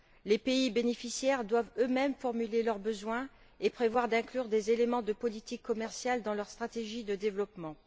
Les pays bénéficiaires doivent eux mêmes formuler leurs besoins et prévoir d'inclure des éléments de politique commerciale dans leurs stratégies de développement.